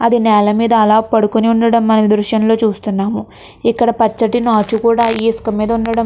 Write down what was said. అది నేల మీద అలా పడుకొని ఉండడం మనం దృశ్యంలో చూస్తున్నాము. ఇక్కడ పచ్చటి నాచ్చు కూడా ఈ ఇసుక మీద ఉండడం --